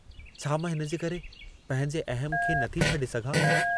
छा मां हिनजे करे पंहिंजे अहम खे नथी छॾे सघां?